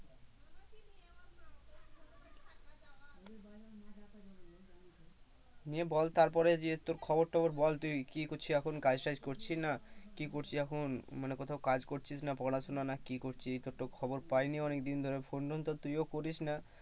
নিয়ে বল তারপরে যে তোর খবর টবর বল তুই কি করছিস এখন কাজ টাজ করছিস না কি করছিস এখন মানে কোথাও কাজ করছিস এখন না পড়াশোনা না কি করছিস তোর খবর তো পাইনি অনেকদিন ধরে phone টোন তো করিস না তুইও করিস না।